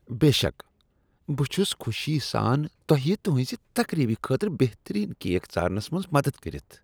بے شک! بہٕ چھس خوشی سان تۄہہ تُہنزِ تقریبہ خٲطرٕ بہترین کیک ژارنس منٛز مدد کٔرتھ۔